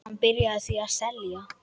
Hann byrjaði því að selja.